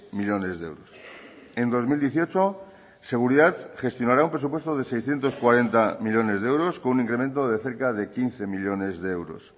millónes de euros en dos mil dieciocho seguridad gestionará un presupuesto de seiscientos cuarenta millónes de euros con un incremento de cerca de quince millónes de euros